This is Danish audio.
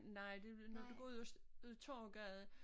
Nej vi ved når du går ud øst ud af Torvegade